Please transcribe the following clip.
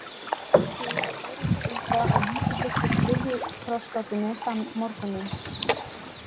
spyr Elín hvumsa og lítur upp úr þriðju krossgátunni þann morguninn.